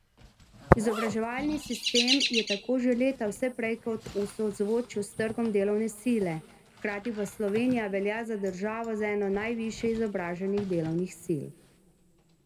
Izobraževalni sistem je tako že leta vse prej kot v sozvočju s trgom delovne sile, hkrati pa Slovenija velja za državo z eno najvišje izobraženih delovnih sil.